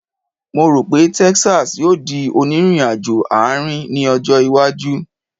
Mo ro pe Texas yoo di a oniriajo aarin ni ojo iwaju